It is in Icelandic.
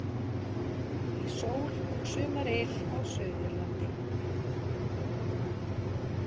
Í sól og sumaryl á Suðurlandi